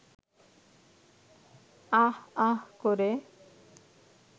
আঃ আঃ করে